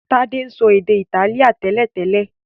Tade so èdè Itálíà télètélè.